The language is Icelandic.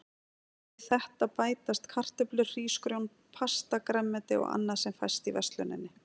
Við þetta bætast kartöflur, hrísgrjón, pasta, grænmeti og annað sem fæst í versluninni.